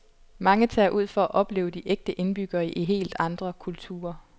Mange tager ud for at opleve de ægte indbyggere i helt andre kulturer.